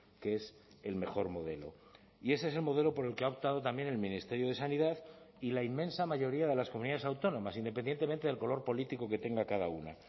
que es el mejor modelo y ese es el modelo por el que ha optado también el ministerio de sanidad y la inmensa mayoría de las comunidades autónomas independientemente del color político que tenga cada una